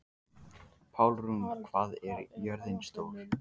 Pálrún, hvað er jörðin stór?